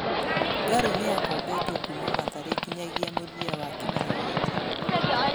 Ngarũ nĩakombetwo kuma Mathare nginyagia mũthia wa kĩmera gĩkĩ.